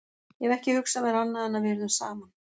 Ég hef ekki hugsað mér annað en að við yrðum saman.